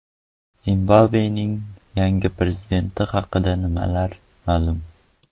Zimbabvening yangi prezidenti haqida nimalar ma’lum?.